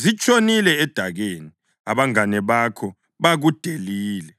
zitshonile edakeni; abangane bakho bakudelile.’